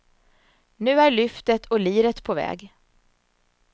Nu är lyftet och liret på väg.